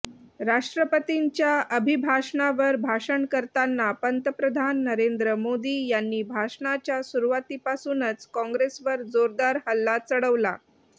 राष्ट्रपतींच्या अभिभाषणावर भाषण करताना पंतप्रधान नरेंद्र मोदी यांनी भाषणाच्या सुरुवातीपासूनच काँग्रेसवर जोरदार हल्ला चढवला